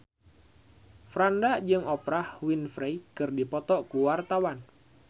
Franda jeung Oprah Winfrey keur dipoto ku wartawan